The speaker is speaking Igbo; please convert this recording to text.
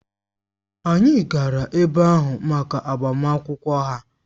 Anyị gara ebe ahụ maka agbamakwụkwọ ha